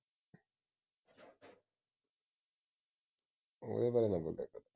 ਇਹ ਗੱਲ